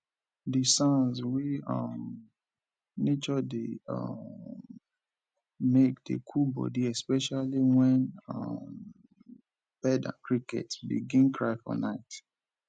di sounds wey um nature dey um make dey cool body especially wen um bird and cricket begin cry for nite